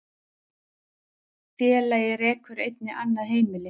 Félagið rekur einnig annað heimili